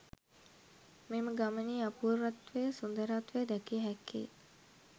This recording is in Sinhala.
මෙම ගමනේ අපූර්වත්වය, සුන්දරත්වය දැකිය හැක්කේ